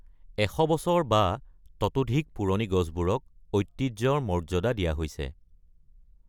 ১০০ বছৰ বা ততোধিক পুৰণি গছবোৰক ঐতিহ্যৰ মৰ্যাদা দিয়া হৈছে।